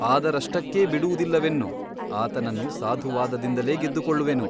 ಆದರಷ್ಟಕ್ಕೇ ಬಿಡುವುದಿಲ್ಲವೆನ್ನು ಆತನನ್ನು ಸಾಧುವಾದದಿಂದಲೇ ಗೆದ್ದುಕೊಳ್ಳುವೆನು.